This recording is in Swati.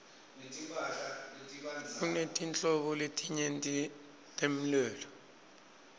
kunetinhlobo letinyeti temlulo